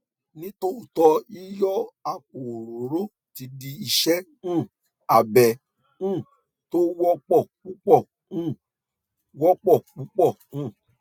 ní tòótọ yíyọ àpò orórò ti di ìṣe um abẹ um tó wọpọ púpọ um wọpọ púpọ um